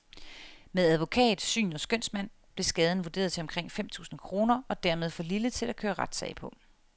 Med advokat, syn og skønsmand blev skaden vurderet til omkring fem tusind kroner, og dermed for lille til at køre retssag på.